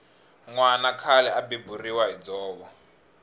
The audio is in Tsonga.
nwana khale a beburiwa hi dzovo